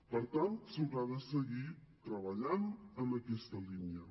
per tant s’haurà de seguir treballant en aquesta línia